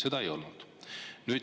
Seda ei olnud.